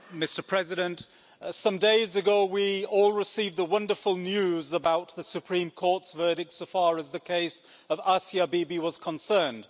Mr President, some days ago we all received the wonderful news about the Supreme Court's verdicts as far as the case of Asia Bibi was concerned.